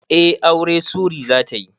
Eh aure Sury zatayi